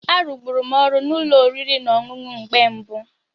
A rụgburum ọrụ na ụlọ oriri na ọṅụṅụ mgbe mbụ